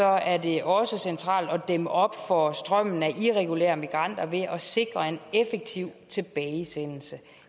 er det også centralt at dæmme op for strømmen af irregulære migranter ved at sikre en effektiv tilbagesendelse